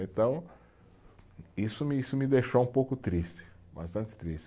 Então, isso me isso me deixou um pouco triste, bastante triste.